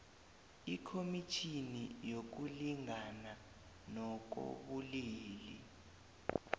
ikhomitjhini yokulingana ngokobulili